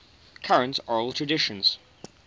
current oral traditions